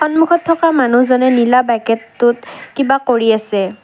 সন্মুখত থকা মানুহজনে নীলা বেকেটটোত কিবা কৰি আছে।